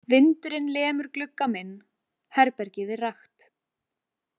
Vindurinn lemur glugga minn, herbergið er rakt.